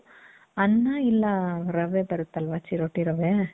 ಅನ್ನ ಇಲ್ಲ ರವೆ ಬರುತ್ತ್ ಅಲ್ವ ಚಿರೋಟಿ ರವೇ .